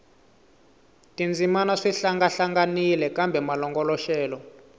tindzimana swi hlangahlanganile kambe malongoloxelo